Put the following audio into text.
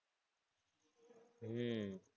હમ